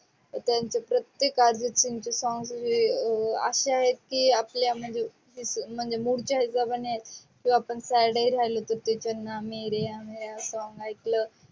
त्याच्यानंतर प्रत्येक अर्जित सिंग चे song वी वो असे आहेत, की आपल्या म्हणजे mood च्या हिशोबाने आपण. sad ही राहलो तर चन्ना मेरेया मेरेया song एकल